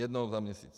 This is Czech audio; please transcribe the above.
Jednou za měsíc.